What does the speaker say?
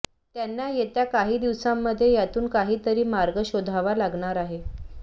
त्यांना येत्या काही दिवसांमध्ये यातून काहीतरी मार्ग शोधावा लागणार आहे